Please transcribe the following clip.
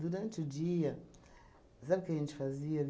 Durante o dia, sabe o que a gente fazia?